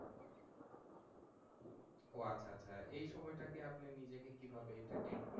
ও আচ্ছা আচ্ছা এই সময়টাকে আপনার নিজেকে কিভাবে entertain করছেন?